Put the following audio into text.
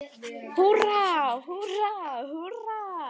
Húrra, húrra, húrra!